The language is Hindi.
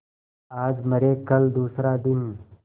आज मरे कल दूसरा दिन